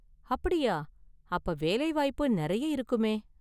அப்படியா! அப்ப வேலைவாய்ப்பு நிறைய இருக்குமே.